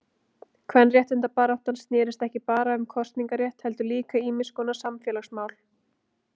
Kvenréttindabaráttan snérist ekki bara um kosningarétt heldur líka um ýmiskonar samfélagsmál.